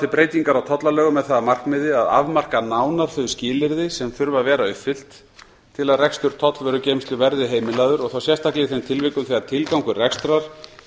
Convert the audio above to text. breytingar á tollalögum með það að markmiði að afmarka nánar þau skilyrði sem þurfa að vera uppfyllt til að rekstur tollvörugeymslu verði heimilaður og þá sérstaklega í þeim tilvikum þegar tilgangur rekstrar